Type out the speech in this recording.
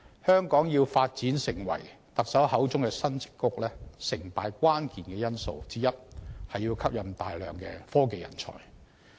香港要發展成為特首口中的"新矽谷"，成敗關鍵因素之一是要吸引大量的科技人才。